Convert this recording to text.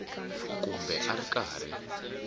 kumbe a a ri karhi